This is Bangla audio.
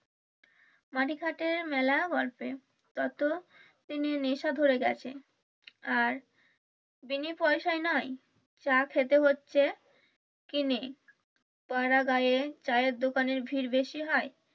মাটিখাটে মেলা গল্পে তত দিনে নেশা ধরে গেছে আর বিনে পয়সায় নাই চা খেতে হচ্ছে কিনে পাড়া গায়ে চায়ের দোকানে ভিড় বেশি হয়।